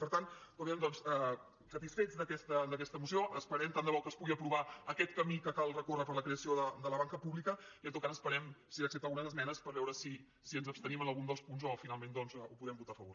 per tant satisfets d’aquesta moció esperem tant de bo que es pugui aprovar aquest camí que cal recórrer per a la creació de la banca pública i en tot cas esperem si accepta algunes esmenes per veure si ens abstenim en algun dels punts o finalment doncs podem votar hi a favor